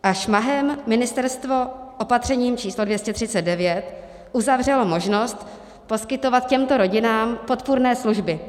A šmahem ministerstvo opatřením číslo 239 uzavřelo možnost poskytovat těmto rodinám podpůrné služby.